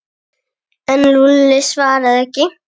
En Lúlli svaraði ekki.